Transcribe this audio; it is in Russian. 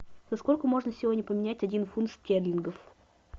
за сколько можно сегодня поменять один фунт стерлингов